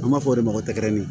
An b'a fɔ de ma ko tɛgɛrɛ